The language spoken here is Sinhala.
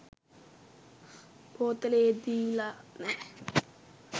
බෝතලේ දීල නෑ.